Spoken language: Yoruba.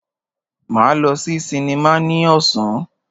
Máa lọ sí sinimá ní ọ̀sán.